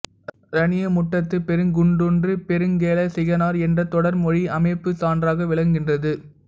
இரணியமுட்டத்துப் பெருங்குன்றூர்ப் பெருங்கௌசிகனார் என்ற தொடர்மொழி அமைப்புச் சான்றாக விளங்குகின்றது